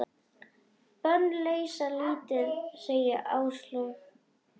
Bönn leysa lítið, segir Áslaug.